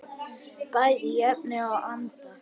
Bæði í efni og anda.